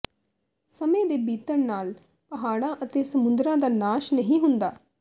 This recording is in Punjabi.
ਸਮੇਂ ਦੇ ਬੀਤਣ ਨਾਲ ਪਹਾੜਾਂ ਅਤੇ ਸਮੁੰਦਰਾਂ ਦਾ ਨਾਸ਼ ਨਹੀਂ ਹੁੰਦਾ